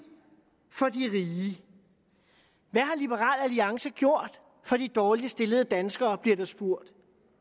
for de rige hvad har liberal alliance gjort for de dårligst stillede danskere bliver der spurgt